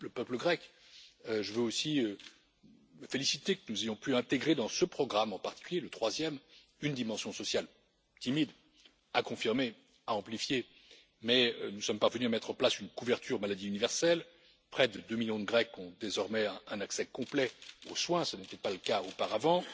Pour le peuple grec, je veux aussi me féliciter que nous ayons pu intégrer dans ce programme, en particulier le troisième, une dimension sociale. Elle est certes timide, à confirmer et à amplifier, mais nous sommes parvenus à mettre en place une couverture maladie universelle près de deux millions de Grecs ont désormais un accès complet aux soins, ce qui n'était pas le cas auparavant